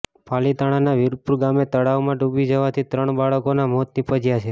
પાલિતાણાના વિરપુર ગામે તળાવમાં ડૂબી જવાથી ત્રણ બાળકોના મોત નીપજ્યા છે